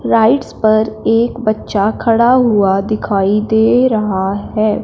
Rides पर एक बच्चा खड़ा हुआ दिखाई दे रहा है।